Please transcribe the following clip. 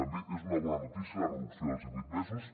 també és una bona notícia la reducció dels divuit mesos